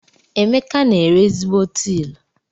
Emeka n'ere ezigbo tilu.